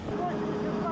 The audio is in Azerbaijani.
Yüzlük, cənablar!